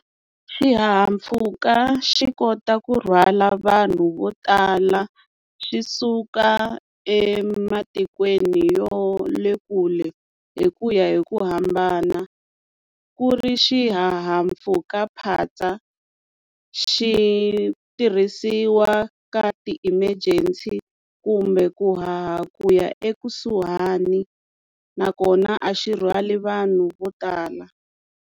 Xihahampfhuka xi kota ku rhwala vanhu vo tala xi suka ematikweni yo le kule hi ku ya hi ku hambana ku ri xihahampfhukaphatsa xi tirhisiwa ka ti-emergency kumbe ku haha kuya ekusuhani nakona a xi rhwali vanhu vo tala.